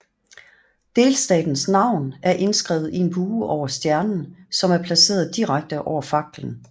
Delstatens navn er indskrevet i en bue over stjernen som er placeret direkte over faklen